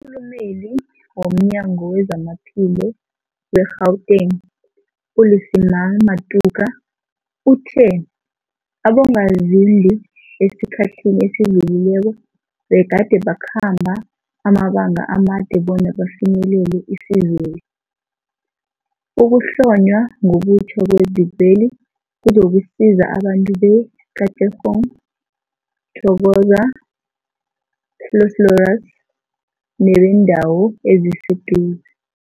Umkhulumeli womNyango weZamaphilo we-Gauteng, u-Lesemang Matuka uthe abongazimbi esikhathini esidlulileko begade bakhamba amabanga amade bona bafinyelele isizweli. Ukuhlonywa ngobutjha kwezikweli kuzokusiza abantu be-Katlehong, Thokoza, Vosloorus nebeendawo eziseduze.